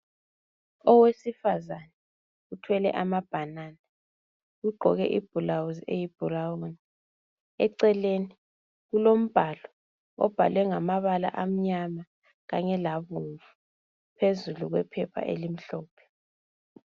Owesifazane uthwele amabhanana ugqoke ibhulawuzi eyi-brown, eceleni kulombhalo obhalwe ngamabala amnyama kanye labomvu phezulu kwephepha elimhlophe.